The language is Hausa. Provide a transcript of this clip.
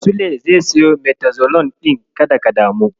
Sule zai siyo Metolazon ɗin, kada ka damu.